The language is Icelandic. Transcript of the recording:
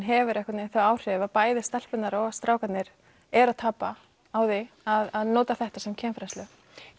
hefur einhvern veginn þau áhrif að bæði stelpurnar og strákarnir eru að tapa á því að nota þetta sem kynfræðslu